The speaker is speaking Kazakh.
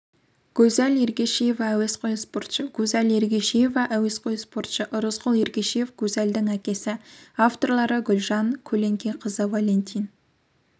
гузаль ергешева әуесқой спортшы гузаль ергешева әуесқой спортшы ырысқұл ергешев гузальдың әкесі авторлары гүлжан көленқызы валентин